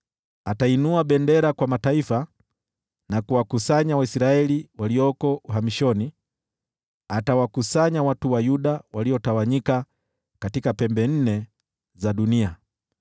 Atainua bendera kwa mataifa na kuwakusanya Waisraeli walioko uhamishoni; atawakusanya watu wa Yuda waliotawanyika kutoka pembe nne za dunia.